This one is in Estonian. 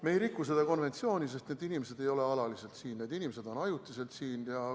Me ei riku seda konventsiooni, sest need inimesed ei ole alaliselt siin, need inimesed on siin ajutiselt.